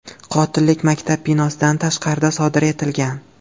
Qotillik maktab binosidan tashqarida sodir etilgan.